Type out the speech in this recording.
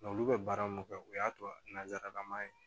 Nga olu bɛ baara mun kɛ o y'a to nanzarama ye